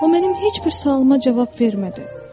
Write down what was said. O mənim heç bir sualıma cavab vermədi.